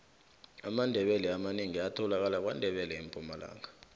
amandebele amanengi atholakala kwandebele empumalanga